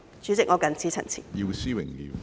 主席，我謹此陳辭。